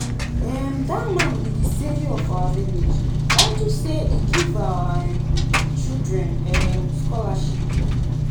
um dat man be the savior of our village unto say e give our um children um scholarship